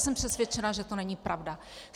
Jsem přesvědčena, že to není pravda.